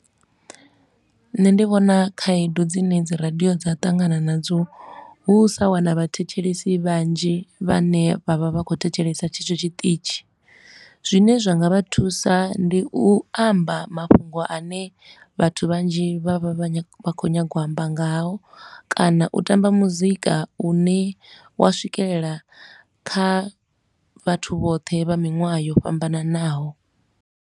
Nṋe ndi vhona khaedu dzine dzi radio dza ṱangana nadzo hu u sa wana vhathetshelesi vhanzhi vhane vha vha vha khou thetshelesa tshetsho tshiṱitshi. Zwine zwa nga vha thusa ndi u amba mafhungo a ne vhathu vhanzhi vha vha vha khou nyaga u amba ngao kana u tamba muzika u ne wa swikelela kha vhathu vhoṱhe vha miṅwaha yo fhambananaho.